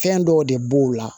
Fɛn dɔw de b'o la